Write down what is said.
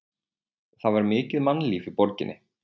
Það var mikið mannlíf í borginni.